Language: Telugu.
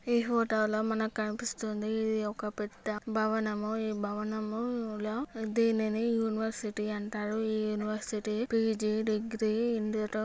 ఈ హోటల్ లో మనకు కనిపిస్తోంది.ఇది ఒక పెద్ద భవనము. ఈ భవనములో దీనిని యూనివర్సిటీ అంటారు. ఈ యూనివర్సిటీ పీ_జీ డిగ్రి --